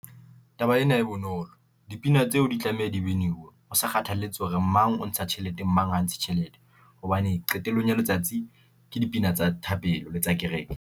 Taba ena e bonolo, dipina tseo di tlameha dibiniwe. Ho sa kgathalletse hore mang o ntsha tjhelete mang ha ntshe tjhelete, hobane qetellong ya letsatsi ke dipina tsa thapelo le tsa kereke.